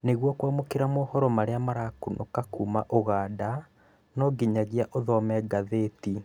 Nĩguo kwamũkĩra mohoro marĩa marakunũka kuma ũganda, no nginyagia ũthome ngathĩti